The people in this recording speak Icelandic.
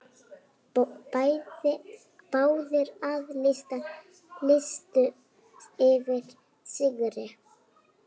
Báðir aðilar lýstu yfir sigri.